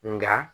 Nka